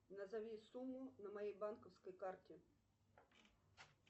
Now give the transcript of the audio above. назови сумму на моей банковской карте